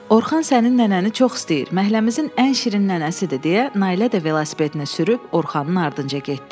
Orxan sənin nənəni çox istəyir, məhəlləmizin ən şirin nənəsidir deyə Nailə də velosipedini sürüb Orxanın ardınca getdi.